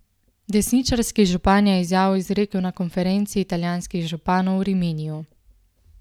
Desničarski župan je izjavo izrekel na konferenci italijanskih županov v Riminiju.